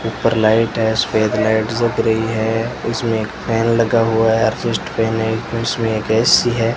ऊपर लाइट है सफेद लाइट जग रही है उसमें एक फैन लगा हुआ है अशिष्ट फैन है उसमें एक ए_सी है।